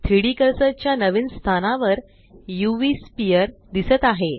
3डी कर्सर च्या नवीन स्थानावर उव स्फियर दिसत आहे